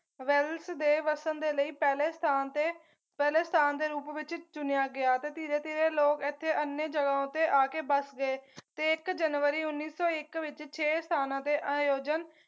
Wales ਦੇ ਵਸਣ ਦੇ ਲਈ ਪਹਿਲੇ ਸਥਾਨ ਤੇ ਪਹਿਲੇ ਸਥਾਨ ਦੇ ਰੂਪ ਵਿੱਚ ਚੁਣਿਆ ਗਿਆ ਤੇ ਧੀਰੇ ਧੀਰੇ ਲੋਕ ਇੱਥੇ ਅਨਿਯਾ ਜਗਾਹੋਂ ਤੇ ਆਕੇ ਵੱਸ ਗਏ ਤੇ ਇੱਕ ਜਨਵਰੀ ਉੱਨੀ ਸੌ ਇੱਕ ਵਿੱਚ ਛੇ ਸਥਾਨਾਂ ਦੇ ਆਯੋਜਨ